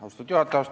Austatud juhataja!